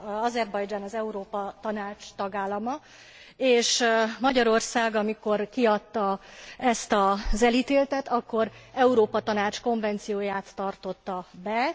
Azerbajdzsán az Európa Tanács tagállama, és Magyarország, amikor kiadta ezt az elítéltet, akkor az Európa Tanács konvencióját tartotta be.